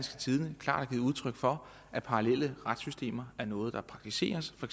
tidende klart har givet udtryk for at parallelle retssystemer er noget der praktiseres for